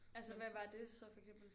Altså hvad var det så for eksempel